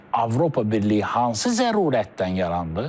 Avropa Birliyi hansı zərurətdən yarandı?